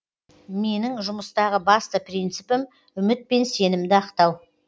менің жұмыстағы басты принципім үміт пен сенімді ақтау